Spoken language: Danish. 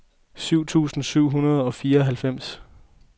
tyve tusind syv hundrede og fireoghalvfems